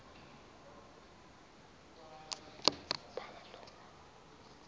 uya kuphala lowa